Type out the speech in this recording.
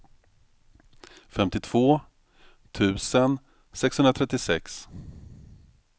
femtiotvå tusen sexhundratrettiosex